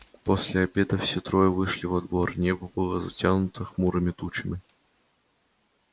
после обеда все трое вышли во двор небо было затянуто хмурыми тучами